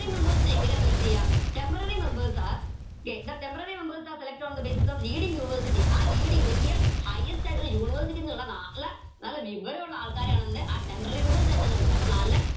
members നെ എങ്ങനെയാ select എയ temporary members are ല്ലെ the temporary members are selected on the basis of leading University ആ leading വലിയ highest ആയിട്ടിള്ള university ന്നുള്ള നല്ല നല്ല വിവരുള്ള ആൾക്കാരെയാണ് എന്ത് ആ temporary members അപ്പൊ നല്ല